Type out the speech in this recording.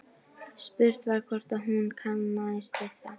Spurt var hvort hún kannaðist við það?